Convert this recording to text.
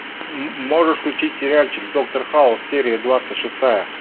можешь включить сериальчик доктор хаус серия двадцать шестая